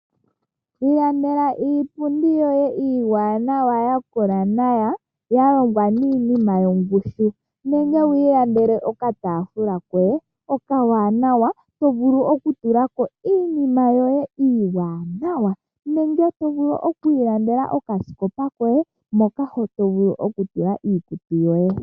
Ilandela iipundi yoye iwaanawa yakola nawa yalongwa niinima yongushu nenge wiilandele okataafula koye okawanawa tovulu okutulako iinima yoye iiwanawa nenge tovulu okwiilandela okaskopa koye mpoka tovulu okutula iikutu yoye.